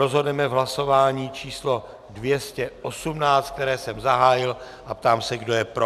Rozhodneme v hlasování číslo 218, které jsem zahájil, a ptám se, kdo je pro.